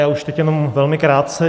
Já už teď jenom velmi krátce.